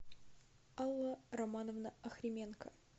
алла романовна охрименко